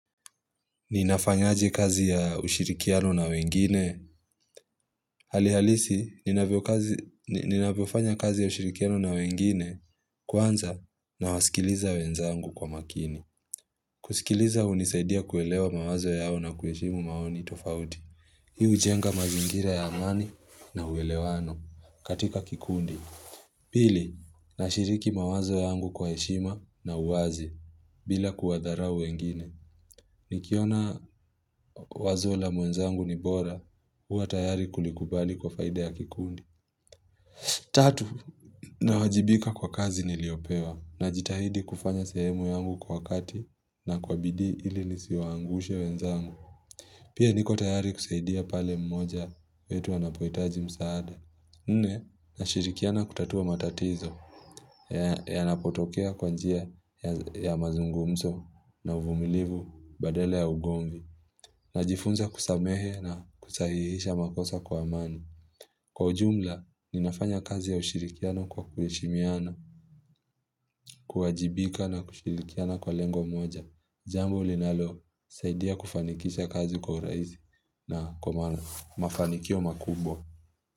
Ninafanyaje kazi ya ushirikiano na wengine. Halihalisi, ninavyofanya kazi ya ushirikiano na wengine kwanza na wasikiliza wenzangu kwa makini. Kusikiliza hunisaidia kuelewa mawazo yao na kuheshimu maoni tofauti. Hii hujenga mazingira ya amani na uwelewano katika kikundi. Pili, nashiriki mawazo yangu kwa heshima na uwazi bila kuwadharau wengine. Nikiona wazo la mwenzangu ni bora huwa tayari kulikubali kwa faida ya kikundi Tatu, nawajibika kwa kazi niliopewa Najitahidi kufanya sehemu yangu kwa wakati na kwa bidii ili nisiwaangushe wenzangu Pia niko tayari kusaidia pale mmoja wetu anapohitaji msaada Nne, nashirikiana kutatua matatizo Yanapotokea kwa njia ya mazungumzo na uvumilivu badala ya ugomvi Najifunza kusamehe na kusahihisha makosa kwa amani. Kwa ujumla, ninafanya kazi ya ushirikiano kwa kuheshimiana, kuwajibika na kushirikiana kwa lengo mmoja. Jambo linalosaidia kufanikisha kazi kwa urahisi na kwa mafanikio makubwa.